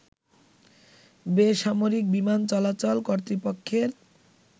বেসামরিক বিমান চলাচল কর্তৃপক্ষের